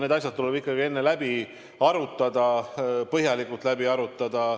Need asjad tuleb ikkagi enne läbi arutada, põhjalikult läbi arutada.